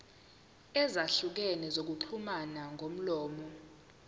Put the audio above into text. ezahlukene zokuxhumana ngomlomo